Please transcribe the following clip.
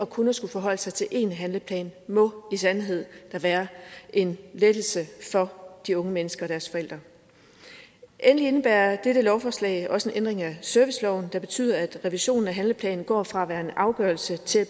kun at skulle forholde sig til en handleplan må i sandhed da være en lettelse for de unge mennesker og deres forældre endelig indebærer dette lovforslag også en ændring af serviceloven der betyder at revisionen af handleplanen går fra at være en afgørelse til at